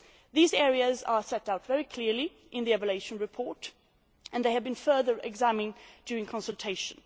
These areas are set out very clearly and in the evaluation report and they have been further examined during consultation.